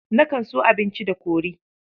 Nakan so abinci da kori.